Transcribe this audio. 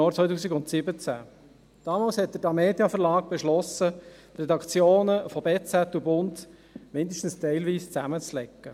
Damals beschloss der Tamedia-Verlag, die Redaktionen von «Berner Zeitung (BZ)» und «Der Bund» zumindest teilweise zusammenzulegen.